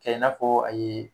Cɛ i n'a fɔ aye